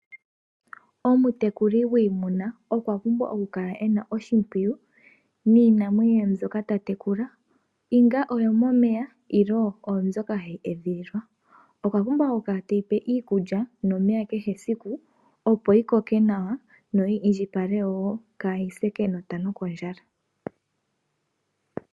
Omutekuli gwiimuna okwa pumbwa oku kala e na oshimpwiyu niinamwenyo mbyoka ta tekula ongele oyomomeya nenge oyo mbyoka hayi edhililwa. Okwa pumbwa oku kala tayi pe iikulya nomeya kehe esiku, opo yi koke nawa noyi indjipale wo, kaayi se kenota nokondjala.